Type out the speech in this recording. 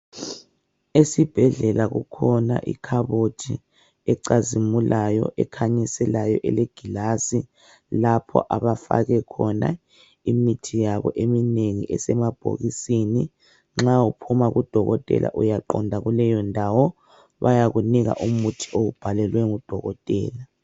Esibhedlela kukhona ikhabothi ecazimulayo ekhanyiselayo elegilasi lapho abafake khona imithi yabo eminengi esemabhokisini. Nxa uphuma kudokotela uyaqonda kuleyo ndawo bayakunika umuthi owubhalelwe ngudokotela.